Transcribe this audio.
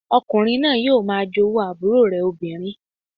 Ọkùnrin náà yóò máa jowú àbúrò rẹ̀ obìnrin